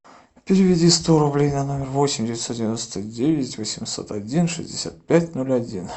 переведи сто рублей на номер восемь девятьсот девяносто девять восемьсот один шестьдесят пять ноль один